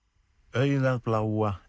augað bláa